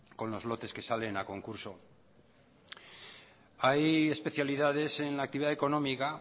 con los lotes que salen a concurso hay especialidades en la actividad económica